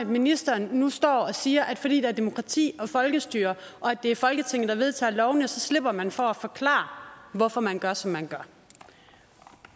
ministeren nu står og siger at fordi der er demokrati og folkestyre og det er folketinget der vedtager lovene så slipper man for at forklare hvorfor man gør som man gør